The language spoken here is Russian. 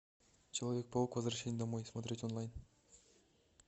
человек паук возвращение домой смотреть онлайн